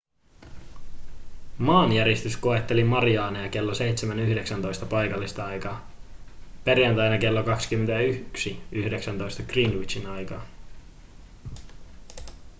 maanjäristys koetteli mariaaneja kello 7.19 paikallista aikaa perjantaina kello 21.19 greenwichin aikaa